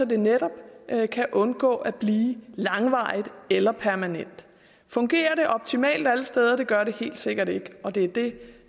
det netop kan undgå at blive langvarigt eller permanent fungerer det optimalt alle steder det gør det helt sikkert ikke og det er det